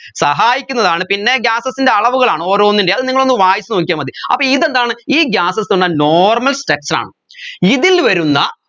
സഹായിക്കുന്നതാണ് പിന്നെ gases ൻറെ അളവുകളാണ് ഓരോന്നിൻറെയും അത് നിങ്ങളൊന്നു വായിച്ച് നോക്കിയാമതി അപ്പോ ഇതെന്താണ് ഈ gases എന്നാ normal structure ആണ് ഇതിൽ വരുന്ന